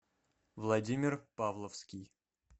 владимир павловский